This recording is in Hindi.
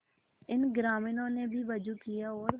इन ग्रामीणों ने भी वजू किया और